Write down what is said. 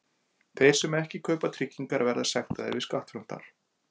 Þeir sem ekki kaupa tryggingar verða sektaðir við skattframtal.